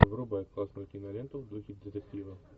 врубай классную киноленту в духе детектива